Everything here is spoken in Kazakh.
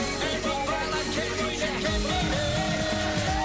ей боз бала кел бойжеткен биле